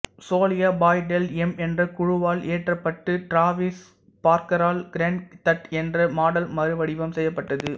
சோல்யா பாய் del M என்ற குழுவால் இயற்றப்பட்டு Travis பார்க்கரால் crank that என்ற பாடல் மறுவடிவம் செய்யப்பட்டது